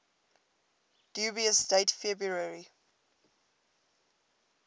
dubious date february